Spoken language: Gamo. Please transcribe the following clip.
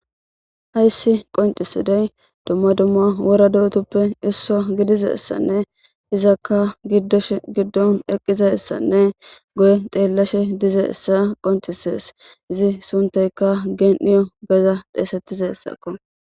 Hayisi qoncisidey dumma dumma wora do'utuppe isso gidizassanne izakka giddosh giddon eqqizassanne goye xeellashe dize essa qoncisees izi sunteyka geen'iyo geza xeesettize ssakko